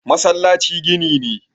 masallaci gini ne